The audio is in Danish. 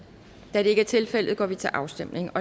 da det ikke er tilfældet går vi til afstemning